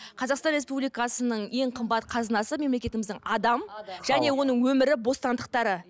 қазақстан республикасының ең қымбат қазынасы мемлекетіміздің адам және оның өмірі бостандықтары